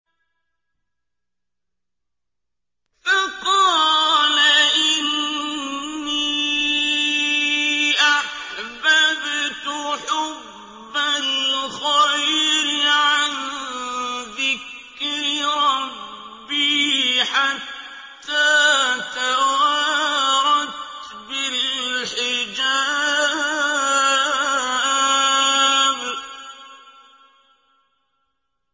فَقَالَ إِنِّي أَحْبَبْتُ حُبَّ الْخَيْرِ عَن ذِكْرِ رَبِّي حَتَّىٰ تَوَارَتْ بِالْحِجَابِ